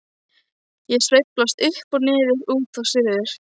Ég sveiflast upp og niður, út og suður.